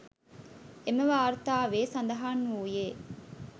එම වාර්තාවේ සඳහන් වූයේ